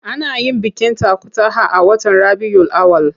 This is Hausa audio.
Ana yin bikin takutaha a watan Rabiyul Awwal.